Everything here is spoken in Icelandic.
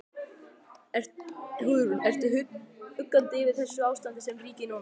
Hugrún: Ertu uggandi yfir þessu ástandi sem ríkir núna?